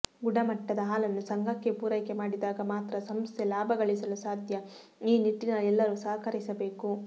ಗುಣಮಟ್ಟದ ಹಾಲನ್ನು ಸಂಘಕ್ಕೆ ಪೂರೈಕೆ ಮಾಡಿದಾಗ ಮಾತ್ರ ಸಂಸ್ಥೆ ಲಾಭ ಗಳಿಸಲು ಸಾಧ್ಯ ಈ ನಿಟ್ಟಿನಲ್ಲಿ ಎಲ್ಲರೂ ಸಹಕರಿಸಬೇಕು